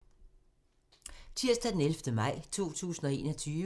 Tirsdag d. 11. maj 2021